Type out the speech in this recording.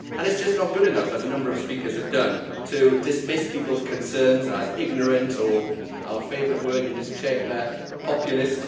It is just not good enough, as a number of speakers have done, to dismiss people's concerns as ignorant or our favourite word in this Chamber populist.